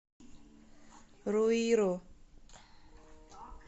руиру